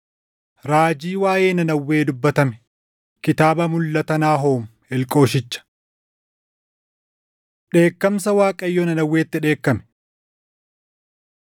Raajii waaʼee Nanawwee dubbatame. Kitaaba mulʼata Naahoom Elqooshicha. Dheekkamsa Waaqayyoo Nanawweetti Dheekkame